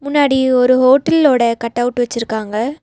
பின்னாடி ஒரு ஹோட்டலோட கட் அவுட் வெச்சிருக்காங்க.